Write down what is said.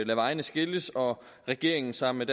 vejene skilles og regeringen sammen